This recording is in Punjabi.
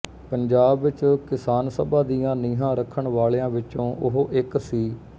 ਪੰਜਾਬ ਵਿੱਚ ਕਿਸਾਨ ਸਭਾ ਦੀਆਂ ਨੀਹਾਂ ਰੱਖਣ ਵਾਲਿਆਂ ਵਿਚੋਂ ਉਹ ਇੱਕ ਸੀ